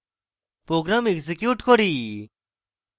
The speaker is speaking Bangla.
program execute করি